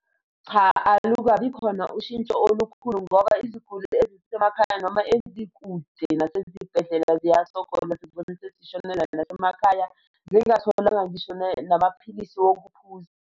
Cha, alukabi khona ushintsho olukhulu ngoba iziguli ezisemakhaya noma ezikude nasezibhedlela ziyasokola, zigcine sezishonela nasemakhaya, zingatholanga ngisho namaphilisi wokuphuza.